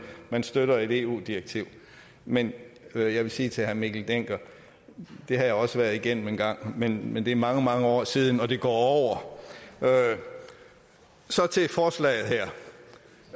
man støtter et eu direktiv men jeg vil sige til herre mikkel dencker det har jeg også været igennem engang men men det er mange mange år siden og det går over så til forslaget